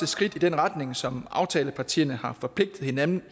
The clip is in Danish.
skridt i den retning som aftalepartierne har forpligtet hinanden